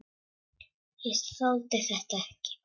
Ég þoldi þetta ekki.